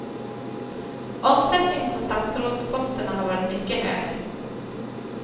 Omsättningen på statsrådsposterna har varit mycket hög.